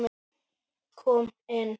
Kom inn